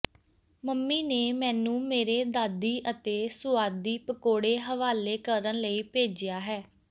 mummy ਨੇ ਮੈਨੂੰ ਮੇਰੇ ਦਾਦੀ ਅਤੇ ਸੁਆਦੀ ਪਕੌੜੇ ਹਵਾਲੇ ਕਰਨ ਲਈ ਭੇਜਿਆ ਹੈ